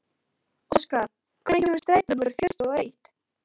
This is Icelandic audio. Óskar, hvenær kemur strætó númer fjörutíu og eitt?